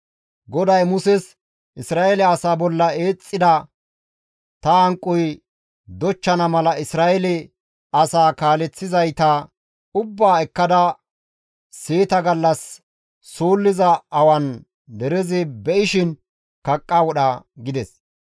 GODAY Muses, «Isra7eele asaa bolla eexxida ta hanqoy dochchana mala Isra7eele asaa kaaleththizayta ubbaa ekkada seeta gallas suulliza awan derezi be7ishin kaqqa wodha» gides.